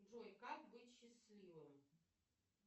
джой как быть счастливым